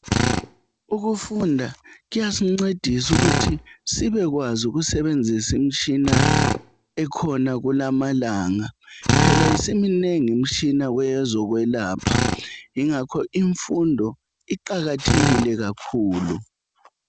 Ukufunda kuyasincedisa ukuthi sibekwazi ukusebenzisa imitshina ekhona kulamalanga, phela isiminengi imitshina kwezokwelapha . Ingakho imfundo iqakathekile kakhulu.